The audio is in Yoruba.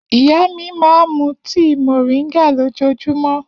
Iya mi ma mu tii moringa lojoojumọ.